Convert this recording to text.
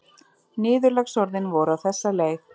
Niðurlagsorðin voru á þessa leið